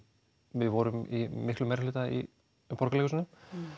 við vorum í miklum meirihluta í Borgarleikhúsinu